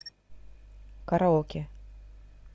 караоке